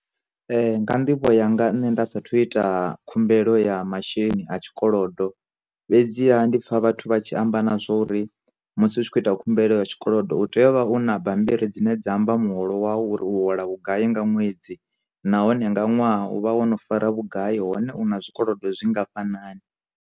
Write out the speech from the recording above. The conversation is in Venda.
Nga nḓivho yanga nne nda sathu ita khumbelo ya masheleni a tshikolodo, fhedziha ndipfa vhathu vha tshi amba nazwo uri musi hu tshi khou ita khumbelo ya tshikolodo, u tea u vha na bammbiri dzine dza amba muholo wawu uri u hola vhugai nga ṅwedzi, nahone nga ṅwaha u vha wono fara vhugai, hone una zwikolodo zwi ngafhanani.